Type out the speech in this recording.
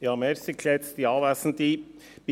Kommissionspräsident der FiKo.